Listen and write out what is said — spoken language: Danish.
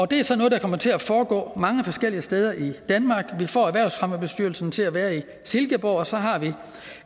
det er så noget der kommer til at foregå mange forskellige steder i danmark vi får erhvervsfremmebestyrelsen til at være i silkeborg og så har vi